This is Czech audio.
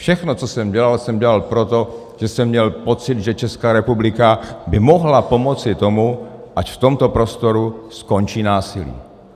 Všechno, co jsem dělal, jsem dělal proto, že jsem měl pocit, že Česká republika by mohla pomoci tomu, ať v tomto prostoru skončí násilí.